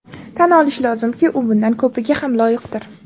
Tan olish lozimki, u bundan ko‘piga ham loyiqdir.